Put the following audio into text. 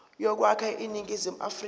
yokwakha iningizimu afrika